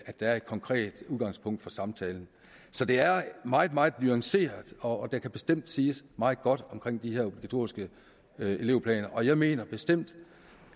er et konkret udgangspunkt for samtalen så det er meget meget nuanceret og der kan bestemt siges meget godt omkring de her obligatoriske elevplaner jeg mener bestemt